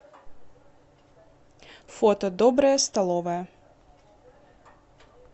фото добрая столовая